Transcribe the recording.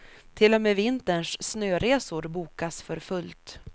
Till och med vinterns snöresor bokas för fullt.